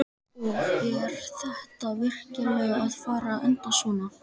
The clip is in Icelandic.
Og er þetta virkilega að fara að enda svona?